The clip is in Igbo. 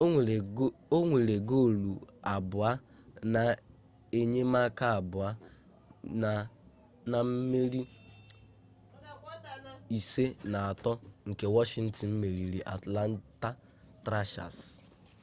o nwere goolu abụọ na enyemaka abụọ na mmeri 5-3 nke washington meriri atlanta thrashers